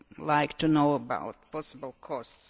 like to know about possible costs.